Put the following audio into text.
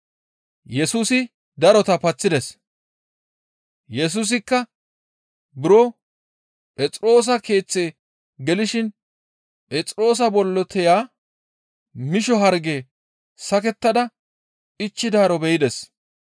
Yesusikka buro Phexroosa keeththe gelishin Phexroosa bolloteya misho harge sakettada ichchidaaro be7ides.